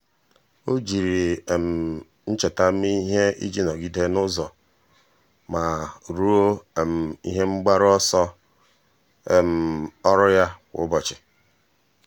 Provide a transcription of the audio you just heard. ọ́ jiri ihe um ncheta mee ihe iji nọ́gídé n’ụ́zọ́ ma rúó um ihe mgbaru ọsọ um ọ́rụ́ ya kwa ụ́bọ̀chị̀.